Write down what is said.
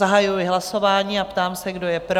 Zahajuji hlasování a ptám se, kdo je pro?